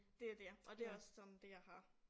Det jo det og det også sådan det jeg har